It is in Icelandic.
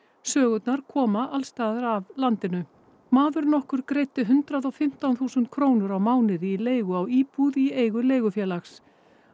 sögurnar koma alls staðar að af landinu maður nokkur greiddi hundrað og fimmtán þúsund krónur á mánuði í leigu á íbúð í eigu leigufélags